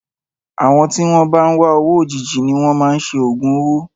Àwọn tí wọn bá ń wá owó òjijì ni wọn máa ń ṣe ògùn owó.